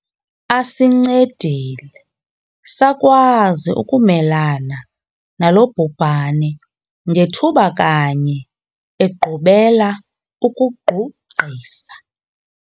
Asincedile sakwazi ukumelana nalo bhubhane ngethuba kanye egqubela ukugqugqisa.